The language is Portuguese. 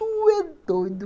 Tu é doido.